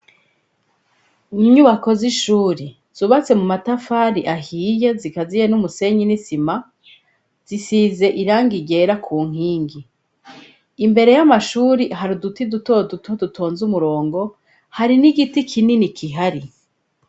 Inyubako z'ishuri, zubatse mu matafari ahiye zikaziye n'umusenyi n'isima, zisize irangi ryera ku nkingi. Imbere y'amashuri hari uduti duto duto dutonze umurongo, hari n'igiti kinini kihari.